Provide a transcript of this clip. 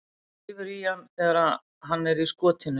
Hann rífur í hann þegar hann er í skotinu.